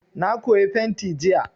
Na koyi fenti jiya.